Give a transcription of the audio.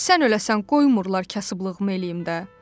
Sən öləsən, qoymurlar kasıblığımı eləyim də.